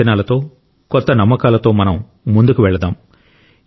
కొత్త అంచనాలతో కొత్త నమ్మకాలతో మనం ముందుకు వెళదాం